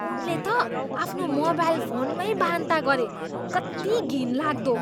उनले त आफ्नो मोबाइल फोनमै बान्ता गरे। कत्ति घिनलाग्दो!